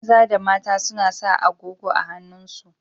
Maza da mata suna sa agogo a hannun su.